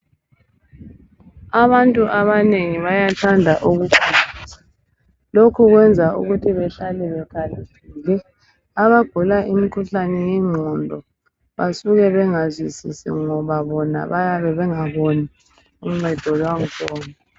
Abantu abanengi bayathanda ukufunda. Lokhu kwenza ukuthi behlale bekhaliphile. Abagula imikhuhlane yengqondo, basuka bengazwisisi, ngoba bona, bayabe bengaluboni uncedo lwakhona.